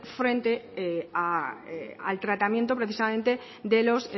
frente al tratamiento precisamente de los